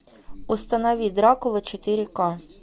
установи дракула четыре ка